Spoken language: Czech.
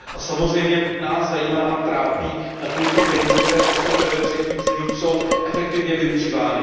Nás samozřejmě zajímá a trápí, nakolik ty peníze, které poskytujeme třetím zemím, jsou efektivně využívány.